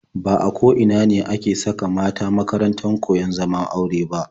Ba a ko ina ne ake saka mata a makarantar koyon zaman aure ba.